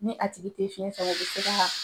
Ni a tigi tɛ fiɲɛ sama u bi se ka